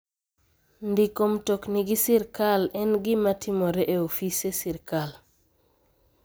Ndiko mtokni gi sirkal en gima timore e ofise sirkal.